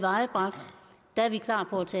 os